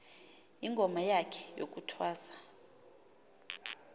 ingoma yakhe yokuthwasa